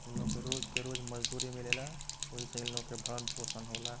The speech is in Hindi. इन लोग के रोज के रोज मजदूरी मिलेला वही से इन लोगन के भरण पोषण होला।